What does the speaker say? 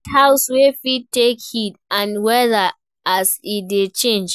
Build house wey fit take heat and weather as e dey change